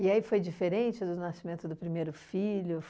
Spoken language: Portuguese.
E aí foi diferente do nascimento do primeiro filho?